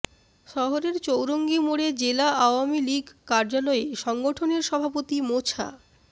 শহরের চৌরঙ্গী মোড়ে জেলা আওয়ামী লীগ কার্যালয়ে সংগঠনের সভাপতি মোছা